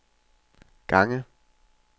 gange